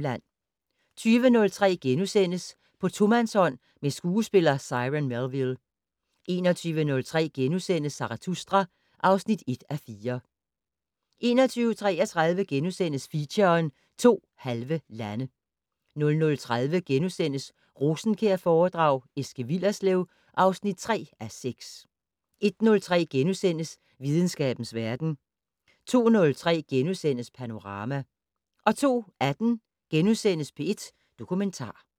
20:03: På tomandshånd med skuespiller Cyron Melville * 21:03: Zarathustra (1:4)* 21:33: Feature: To halve lande * 00:30: Rosenkjærforedrag: Eske Willerslev (3:6)* 01:03: Videnskabens verden * 02:03: Panorama * 02:18: P1 Dokumentar *